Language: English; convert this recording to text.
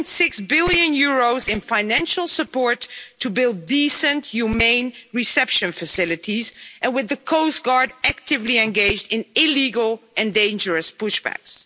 2.6 billion in financial support to build decent humane reception facilities, and with the coast guard actively engaged in illegal and dangerous push backs.